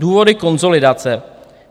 Důvody konsolidace.